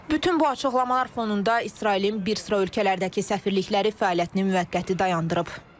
Bütün bu açıqlamalar fonunda İsrailin bir sıra ölkələrdəki səfirlikləri fəaliyyətini müvəqqəti dayandırıb.